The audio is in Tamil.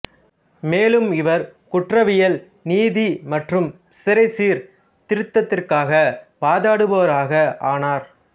மேலும் இவர் குற்றவியல் நீதி மற்றும் சிறை சீர்திருத்தத்திற்காக வாதாடுபவராக ஆனார்